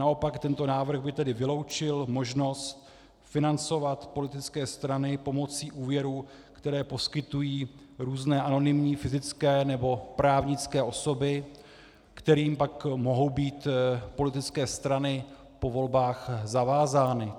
Naopak tento návrh by tedy vyloučil možnost financovat politické strany pomocí úvěrů, které poskytují různé anonymní fyzické nebo právnické osoby, kterým pak mohou být politické strany po volbách zavázány.